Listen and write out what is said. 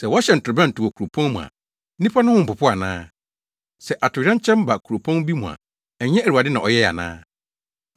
Sɛ wɔhyɛn torobɛnto wɔ kuropɔn mu a nnipa no ho mpopo ana? Sɛ atoyerɛnkyɛm ba kuropɔn bi mu a ɛnyɛ Awurade na ɔyɛe ana?